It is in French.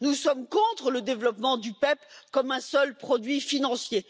Nous sommes contre le développement du PEPP comme un seul produit financier.